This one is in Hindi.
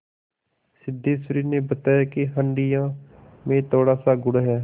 सिद्धेश्वरी ने बताया कि हंडिया में थोड़ासा गुड़ है